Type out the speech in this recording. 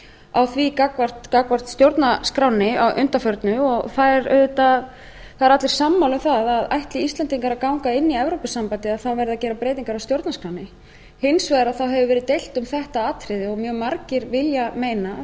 á því gagnvart stjórnarskránni að undanförnu og það eru allir sammála um að ætli íslendingar að ganga inn í evrópusambandið verði að gera breytingar á stjórnarskránni hins vegar hefur verið deilt um þetta atriði og mjög margir vilja meina fræðimenn